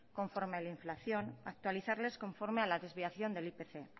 conforme a la inflación actualizarlas conforme a la desviación del ipc